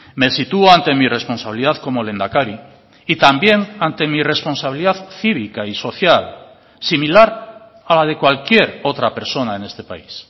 me sitúo ante mi responsabilidad como lehendakari y también ante mi responsabilidad cívica y social similar a la de cualquier otra persona en este país